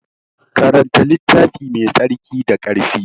Karanta littafi Mai tsarki da ƙarfi.